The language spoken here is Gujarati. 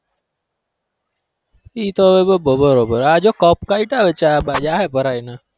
એતો બરોબર આ જો cup કાયઢા હવે ચા બા જાહે ભરાઈ ને